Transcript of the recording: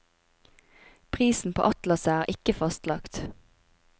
Prisen på atlaset er ikke fastlagt.